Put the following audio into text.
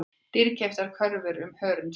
Dýrkeyptar kröfur um hörundslit